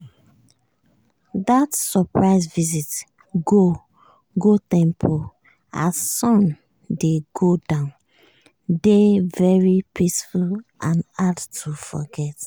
dat surprise visit go go temple as sun dey go down dey very peaceful and hard to forget.